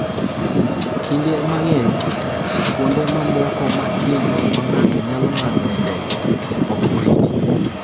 Kinde mang’eny, kuonde mamoko matindo ma ng’ato nyalo ng’adoe ndege ok oriti.